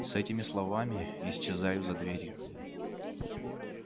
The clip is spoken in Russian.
с этими словами исчезаю за дверью